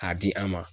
K'a di an ma